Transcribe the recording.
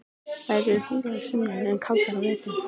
Þær eru hlýjar að sumri en kaldar á vetrum.